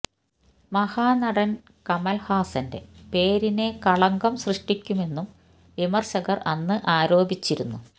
മഹനടൻ കമൽ ഹാസന്റെ പേരിന് കളങ്കം സൃഷ്ടിക്കുമെന്നും വിമർശകർ അന്ന് ആരോപിച്ചിരുന്നു